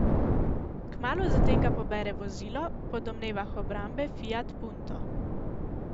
Kmalu zatem ga pobere vozilo, po domnevah obrambe fiat punto.